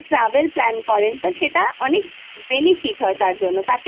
সেটা অনেক benefit হয় তার জন্য